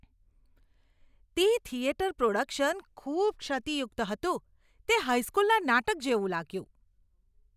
તે theatre production ખૂબ ક્ષતિયુક્ત હતું. તે હાઈ સ્કૂલના નાટક જેવું લાગ્યું.